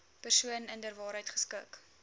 persoon inderwaarheid geskik